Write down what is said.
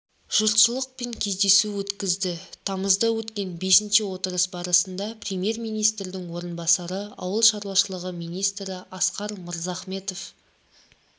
жұртшылықпен кездесу өткізді тамызда өткен бесінші отырыс барысында премьер-министрдің орынбасары ауыл шаруашылығы министрі асқар мырзахметов